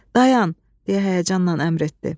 Dayan, deyə həyəcanla əmr etdi.